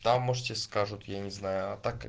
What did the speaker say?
там может тебе скажут я не знаю а так